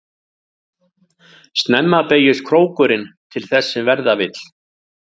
Snemma beygist krókurinn til þess sem verða vill.